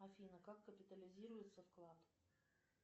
афина как капитализируется вклад